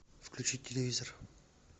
включить телевизор